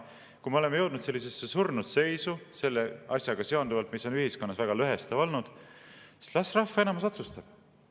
Aga kui me oleme jõudnud sellisesse surnud seisu selle asjaga seonduvalt, mis on ühiskonnas väga lõhestav olnud, las rahva enamus otsustab.